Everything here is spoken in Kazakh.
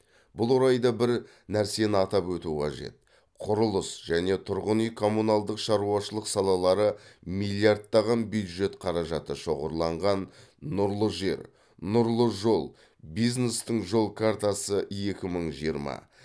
бұл орайда бір нәрсені атап өту қажет құрылыс және тұрғын үй коммуналдық шаруашылық салалары миллиардтаған бюджет қаражаты шоғырланған нұрлы жер нұрлы жол бизнестің жол картасы екі мың жиырма